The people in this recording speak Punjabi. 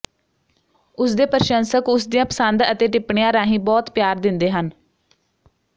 ਉਸਦੇ ਪ੍ਰਸ਼ੰਸਕ ਉਸਦੀਆਂ ਪਸੰਦ ਅਤੇ ਟਿੱਪਣੀਆਂ ਰਾਹੀਂ ਬਹੁਤ ਪਿਆਰ ਦਿੰਦੇ ਹਨ